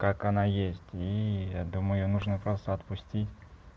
как она есть и я думаю её нужно просто отпустить